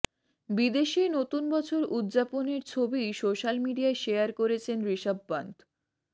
বিদেশে নতুন বছর উদযাপনের ছবি সোশ্যাল মিডিয়ায় শেয়ার করেছেন ঋষভ পান্থ